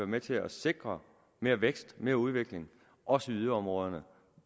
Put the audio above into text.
med til at sikre mere vækst og mere udvikling også i yderområderne og